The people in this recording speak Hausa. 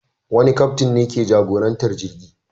Wani kaftin ne ke jagorantar jirgi.